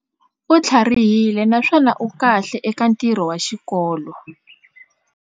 U tlharihile naswona u kahle eka ntirho wa xikolo.